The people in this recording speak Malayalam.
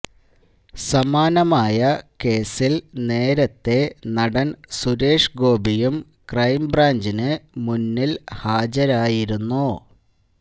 സമാനമായ കേസില് നേരത്തെ നടന് സുരേഷ് ഗോപിയും ക്രൈംബ്രാഞ്ചിന് മുന്നില് ഹാജരായിരുന്നു